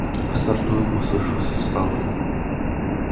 стартую послышался справа